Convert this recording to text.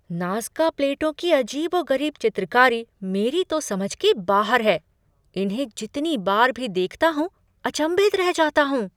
Nazca plateau की अजीबो गरीब चित्रकारी मेरी तो समझ के बाहर है। इन्हें जितनी बार भी देखता हूँ, अचंभित रह जाता हूँ।